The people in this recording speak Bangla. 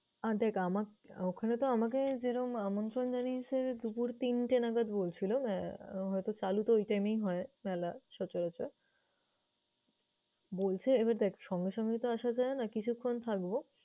আহ দেখ আমার~ ওখানেতো আমাকে যেরম আমন্ত্রণ জানিয়েছে দুপুর তিনটে নাগাদ বলছিলো। আহ হয়তো চালুতো ঐ time এই হয় মেলা সচরাচর। বলছে, এবার দেখ সঙ্গে সঙ্গেতো আসা যায় না, কিছুক্ষন থাকবো।